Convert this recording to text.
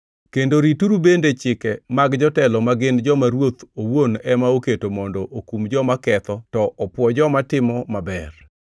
kendo rituru bende chike mag jotelo ma gin joma ruoth owuon ema oketo mondo okum joma ketho to opwo joma timo maber.